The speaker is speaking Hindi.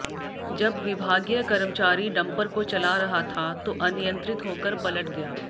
जब विभागीय कर्मचारी डंपर को चला रहा था तो अनियंत्रित होकर पलट गया